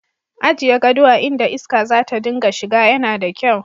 Ajiye gado a inda iska za ta dinga shiga yana da kyau.